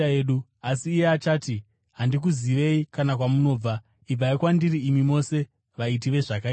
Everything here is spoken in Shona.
“Asi iye achati, ‘Handikuzivei, kana kwamunobva. Ibvai kwandiri, imi mose vaiti vezvakaipa!’